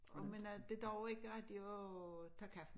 Og med noget det dur ikke rigtig at tage kaffe